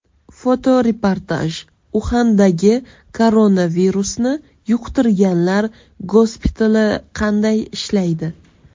Fotoreportaj Uxandagi koronavirusni yuqtirganlar gospitali qanday ishlaydi?